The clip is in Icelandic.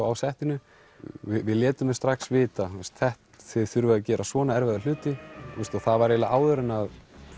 á settinu við létum þau strax vita þið þurfið að gera svona erfiða hluti það var áður en